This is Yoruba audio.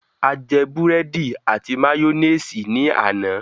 A jẹ búrẹ́dì àti màyónésì ní àná.